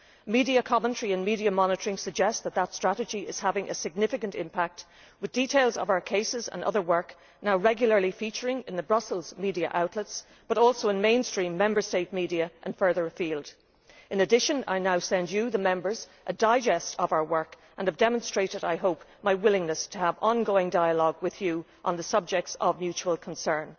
Media commentary and media monitoring suggest that that strategy is having a significant impact, with details of our cases and other work now regularly featuring in the Brussels media outlets and also in mainstream Member State media and further afield. In addition, I now send you, the Members, a digest of our work, and I hope I have demonstrated my willingness to have ongoing dialogue with you on subjects of mutual concern.